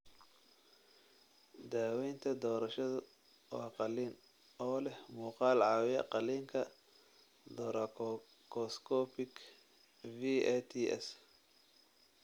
Daawaynta doorashadu waa qalliin, oo leh muuqaal caawiya qalliinka thoracoscopic (VATS).